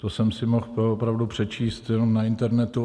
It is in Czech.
To jsem si mohl opravdu přečíst jenom na internetu.